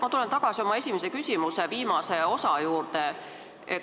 Ma tulen tagasi oma esimese küsimuse viimase osa juurde.